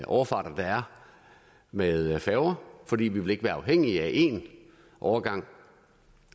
overfarter der er med færger for vi ville ikke være afhængige af én overgang